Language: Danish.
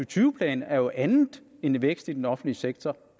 tyve plan er jo andet end vækst i den offentlige sektor